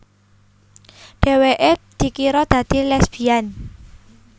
Dheweké dikira dadi lesbian